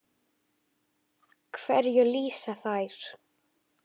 Hverju lýsa þær?